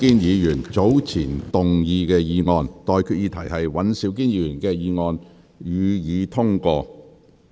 我現在向各位提出的待決議題是：尹兆堅議員動議的議案，予以通過。